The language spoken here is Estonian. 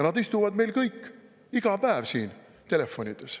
Nad istuvad meil kõik iga päev siin telefonides.